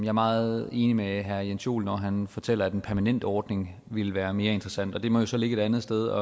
er meget enig med herre jens joel når han fortæller at en permanent ordning vil være mere interessant og det må jo så ligge et andet sted